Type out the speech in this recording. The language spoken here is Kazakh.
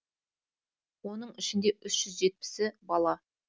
оның ішінде үш жетпісі бала